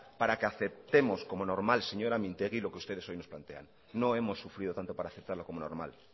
para que aceptemos como normal señora mintegi lo que ustedes hoy nos plantean no hemos sufrido tanto para aceptarlo como normal